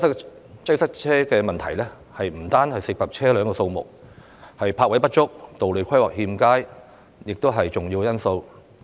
然而，塞車問題不單涉及車輛數目，泊位不足、道路規劃欠佳等亦是重要成因。